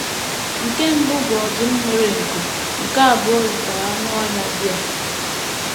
Nke mbụ bụ ọdụm nwere nku, nke abụọ yikwara anụ ọhịa bear.